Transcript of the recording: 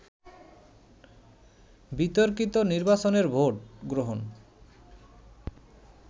বিতর্কিত নির্বাচনের ভোট গ্রহণ